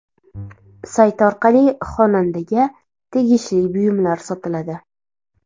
Sayt orqali xonandaga tegishli buyumlar sotiladi.